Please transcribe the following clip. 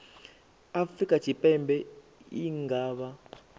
afrika tshipembe i nga vha